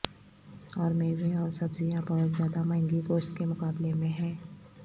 اور میوے اور سبزیاں بہت زیادہ مہنگی گوشت کے مقابلے میں ہیں